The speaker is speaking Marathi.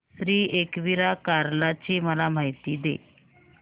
श्री एकविरा कार्ला ची मला माहिती दे